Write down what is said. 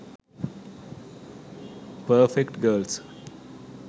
perfect girls